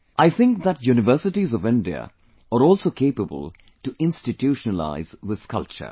I think that universities of India are also capable to institutionalize this culture